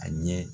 A ɲɛ